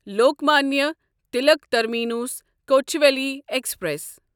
Lokmanya Tilak terminus Kochuveli express